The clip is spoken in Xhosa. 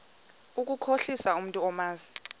ukukhohlisa umntu omazi